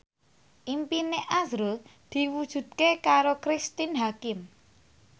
impine azrul diwujudke karo Cristine Hakim